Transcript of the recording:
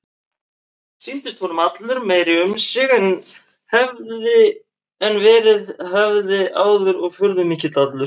Sýndist honum hann allur meiri um sig en verið hafði áður og furðumikill allur.